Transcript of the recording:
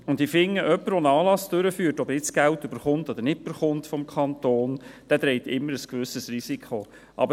Ich bin der Meinung, dass jemand, der einen Anlass durchführt, ob er nun Geld vom Kanton erhält oder nicht, immer ein gewisses Risiko trägt.